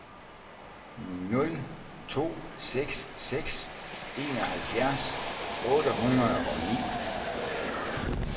nul to seks seks enoghalvfjerds otte hundrede og ni